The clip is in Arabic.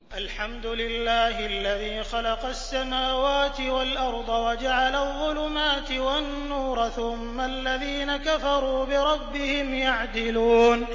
الْحَمْدُ لِلَّهِ الَّذِي خَلَقَ السَّمَاوَاتِ وَالْأَرْضَ وَجَعَلَ الظُّلُمَاتِ وَالنُّورَ ۖ ثُمَّ الَّذِينَ كَفَرُوا بِرَبِّهِمْ يَعْدِلُونَ